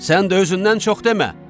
Sən də özündən çox demə.